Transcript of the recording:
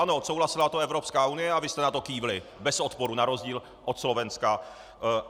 Ano, odsouhlasila to Evropská unie a vy jste na to kývli bez odporu na rozdíl od Slovenska.